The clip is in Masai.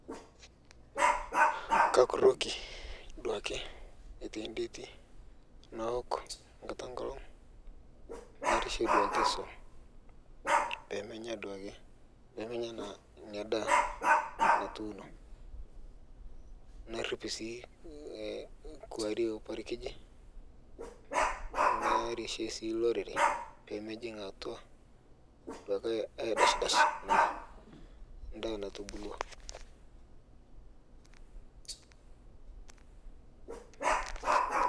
Kakuroki duake aitai ndetii nawok nkata enkolong narishie duake suom pemenya duake inia daa natuuno narip sii kuarie oparikijii narishie sii loreree peemejing atua duake aidashdash naa ntoki natubulua.